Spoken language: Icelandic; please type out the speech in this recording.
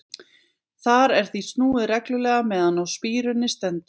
Þar er því snúið reglulega meðan á spíruninni stendur.